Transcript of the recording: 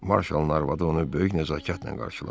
Marshalın arvadı onu böyük nəzakətlə qarşıladı.